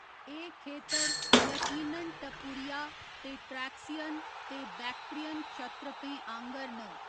एह् खेतर यकीनन टपुरिया ते ट्रैक्सियन दे बैक्ट्रियन क्षत्रपें आह्ंगर न।